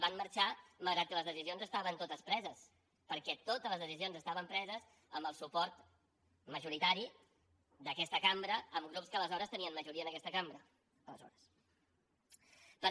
van marxar malgrat que les decisions estaven totes preses perquè totes les decisions estaven preses amb el suport majoritari d’aquesta cambra amb grups que aleshores tenien majoria en aquesta cambra aleshores